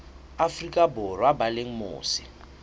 afrika borwa ba leng mose